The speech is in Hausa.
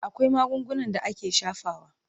Akwai magungunan da ake shafawa.